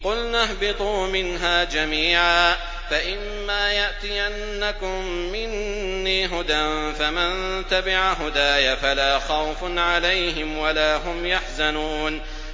قُلْنَا اهْبِطُوا مِنْهَا جَمِيعًا ۖ فَإِمَّا يَأْتِيَنَّكُم مِّنِّي هُدًى فَمَن تَبِعَ هُدَايَ فَلَا خَوْفٌ عَلَيْهِمْ وَلَا هُمْ يَحْزَنُونَ